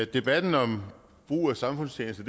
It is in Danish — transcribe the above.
debatten om brug af samfundstjeneste